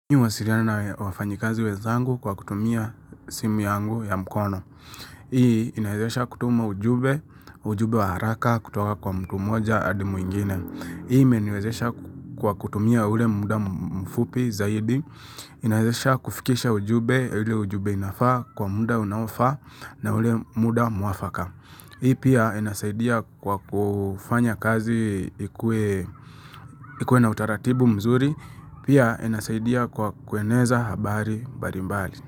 Mimi huwasiliana na wafanyikazi wezangu kwa kutumia simi yangu ya mkono. Hii inawezesha kutuma ujumbe, ujumbe wa haraka kutoka kwa mtu mmoja hadi mwingine. Hii imeniwezesha kwa kutumia ule muda mfupi zaidi. Inawezesha kufikisha ujumbe, ule ujumbe inafaa kwa muda unaofaa na ule muda mwafaka. Hii pia inasaidia kwa kufanya kazi ikue na utaratibu mzuri. Pia anasaidia kwa kueneza habari mbalimbali.